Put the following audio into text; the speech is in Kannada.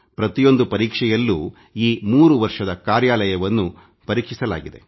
ಈ 3 ವರ್ಷದ ಕಾರ್ಯವನ್ನು ಆಮೂಲಾಗ್ರವಾಗಿ ಪರೀಕ್ಷಿಸಲಾಗಿದೆ